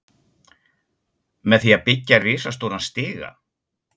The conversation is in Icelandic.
Með því að byggja risastóran stiga?